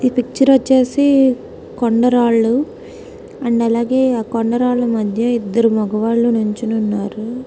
ఈ పిక్చర్ వచ్చేసి కొండరాల్లో రెండు అలాగే కొండరాల మధ్యలో ఇద్దరు మగవాళ్లు నించునే ఉన్నారు